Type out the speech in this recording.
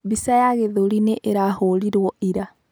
Bica ya kĩthũri nĩ ĩrahũrirwo ira.